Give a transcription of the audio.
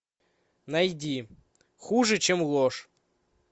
найди хуже чем ложь